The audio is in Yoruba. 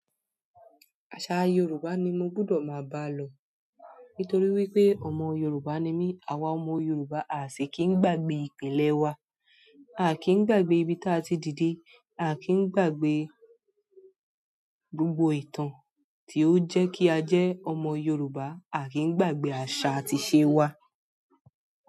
Àṣà Yoruba ni mo gbúdọ̀ máa bá lọ nítorí wípé ọmọ Yoruba ni mí. Awa ọmọ Yoruba, a sì kí ń gbàgbé ìpìlẹ̀ wa, a kì í gbàgbé ibi tí a ti dìde, a kì í gbàgbé gbogbo ìtàn tí ó jẹ́ kí a jẹ́ ọmọ Yoruba, a kì í gbàgbé àṣà àti ìṣe wa.